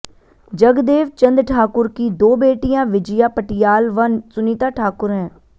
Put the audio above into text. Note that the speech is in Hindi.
जगदेव चंद ठाकुर की दो बेटियां विजया पटियाल व सुनीता ठाकुर हैं